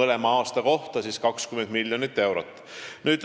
mõlema aasta kohta on ette nähtud 20 miljonit eurot.